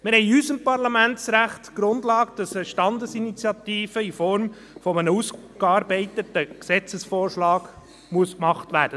Wir haben in unserem Parlamentsrecht die Grundlage, dass eine Standesinitiative in Form eines ausgearbeiteten Gesetzesvorschlags gemacht werden muss.